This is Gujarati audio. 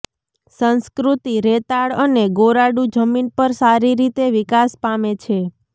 સંસ્કૃતિ રેતાળ અને ગોરાડુ જમીન પર સારી રીતે વિકાસ પામે છે